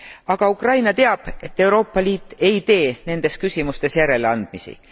Aga Ukraina teab, et Euroopa Liit ei tee nendes küsimustes järeleandmisi.